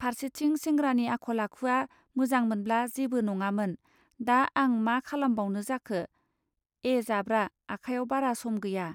फार्सेथिं सेंग्रानि आखल आखुआ मोजां मोनब्ला जेबो नङामोन दा आं मा खालामबावनो जाखो? ए जाब्रा आखायाव बारा सम गैया